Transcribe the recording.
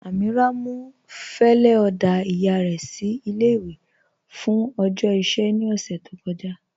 Amíírà mú fẹlẹ oda iyà rẹ sí ilé-ìwé fún ọjọ́ iṣẹ̀ ní ọṣẹ̀ tó kọ̀jà.